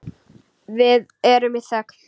Við erum í þögn.